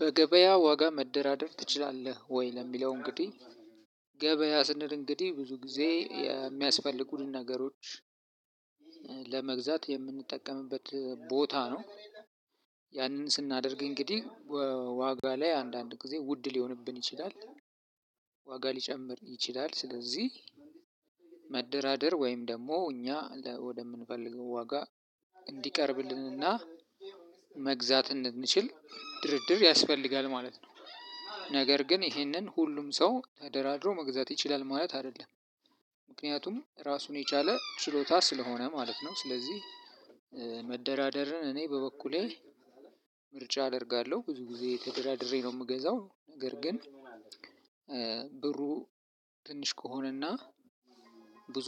በገበያ ዋጋ መደራደር ትችላለህ ወይ? ለሚለው እንግዲህ ገበያ ስንል እንግዲህ ብዙ ጊዜ የሚያስፈልጉንን ነገሮች ለመግዛት የምንጠቀምበት ቦታ ነው። ያንን ስናደርግ እንግዲህ ዋጋ ላይ አንዳንድ ጊዜ ውድ ሊሆንብን ይችላል። ዋጋ ሊጨምር ይችላል ስለዚህ መደራደር ወይም ደግሞ እኛ ወደምንፈልገው ዋጋ እንዲቀርብልንና መግዛት እንድንችል ድርድር ያስፈልጋል ማለት ነው። ነገር ግን ይህንን ሁሉም ሰው ተደራድሮ መግዛት ይችላል ማለት አይደለም። ምክንያቱም ራሱን የቻለ ችሎታ ስለሆነ ማለት ነው። ስለዚህ መደራደርን እኔ በበኩሌ ምርጫ አደርጋለሁ ብዙ ጊዜ ተደራድሬ ነው የምገዛው። ነገር ግን ብሩ ትንሽ ከሆነና ብዙ